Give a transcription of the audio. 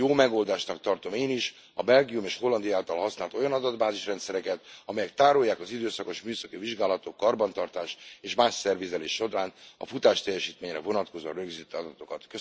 Jó megoldásnak tartom én is a Belgium és Hollandia által használt olyan adatbázis rendszereket, amelyek tárolják az időszakos műszaki vizsgálatok, karbantartás és más szervizelés során a futásteljesítményre vonatkozó rögzített adatokat.